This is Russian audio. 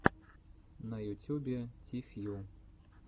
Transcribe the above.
на ютюбе ти фью